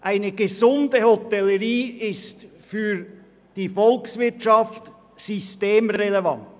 Erstens: Eine gesunde Hotellerie ist für die Volkswirtschaft systemrelevant.